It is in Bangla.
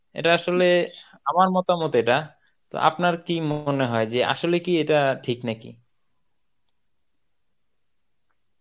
এটা আসলে আমার মতামত এটা. তো আপনার কী মনে হয় আসলে কি এটা ঠিক নাকি?